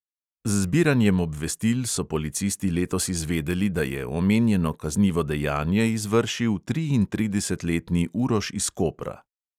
Z zbiranjem obvestil so policisti letos izvedeli, da je omenjeno kaznivo dejanje izvršil triintridesetletni uroš iz kopra.